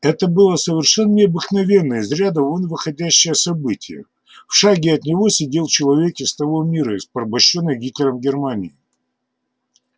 это было совершенно необыкновенное из ряда вон выходящее событие в шаге от него сидел человек из того мира из порабощённой гитлером германии